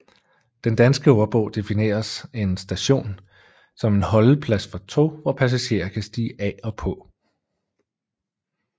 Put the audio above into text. Den Danske Ordbog defineres en station som en holdeplads for tog hvor passagerer kan stige af og på